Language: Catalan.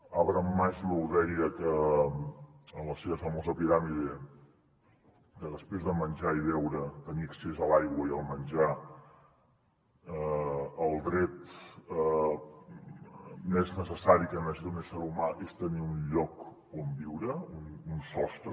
abraham maslow deia en la seva famosa piràmide que després de menjar i beure tenir accés a l’aigua i al menjar el dret més necessari d’un ésser humà és tenir un lloc on viure un sostre